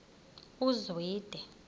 uzwide